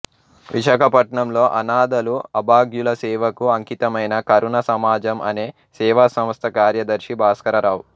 విశాఖపట్నంలో అనాథలు అభాగ్యుల సేవకు అంకితమైన కరుణ సమాజం అనే సేవాసంస్థ కార్యదర్శి భాస్కరరావు